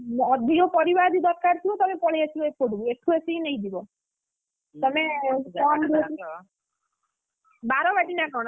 ଅଧିକ ପରିବା ଯଦି ଦରକାର ଥିବ ତାହାଲେ ପଳେଇ ଆସିବ ଏପଟକୁ ଏଠୁ ଆସିକି ନେଇଯିବ ତମେ କଣ ବାରବାଟୀ ନା କଣ ନା?